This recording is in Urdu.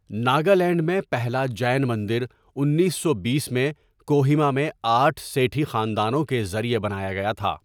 ناگالینڈ میں پہلا جین مندر انیس سو بیس میں کوہیما میں آٹھ سیٹھی خاندانوں کے ذریعے بنایا گیا تھا۔